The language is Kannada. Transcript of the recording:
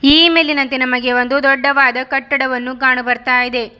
ಈ ಮೇಲಿನಂತೆ ನಮಗೆ ಒಂದು ದೊಡ್ಡವಾದ ಕಟ್ಟಡವನ್ನು ಕಾಣು ಬರ್ತಾ ಇದೆ.